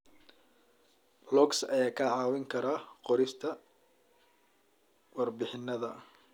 Logs ayaa kaa caawin kara qorista warbixinnada.